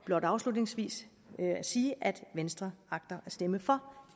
blot afslutningsvis sige at venstre agter at stemme for